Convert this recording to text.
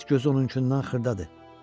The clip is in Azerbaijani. At gözü onunkundan xırdadır.